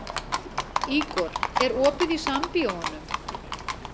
Ígor, er opið í Sambíóunum?